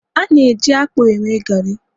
a na-eji akpu eme gari